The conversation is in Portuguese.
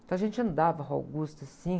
Então a gente andava a Rua Augusta, assim.